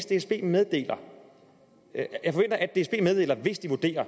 dsb meddeler det hvis de vurderer